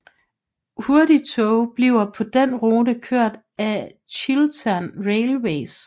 Hurtigtoge bliver på den rute kørt af Chiltern Railways